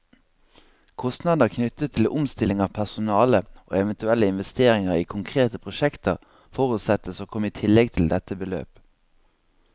Kostnader knyttet til omstilling av personale, og eventuelle investeringer i konkrete prosjekter, forutsettes å komme i tillegg til dette beløp.